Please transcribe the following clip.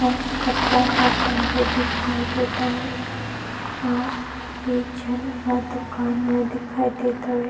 अउ कपड़ा ह टंगे दिखाई देत हवे अउ एक झन ह दुकान मे दिखाई देत हवे।